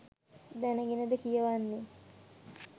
දැනගෙනද කියවන්නේ.